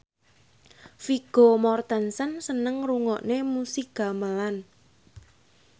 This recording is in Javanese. Vigo Mortensen seneng ngrungokne musik gamelan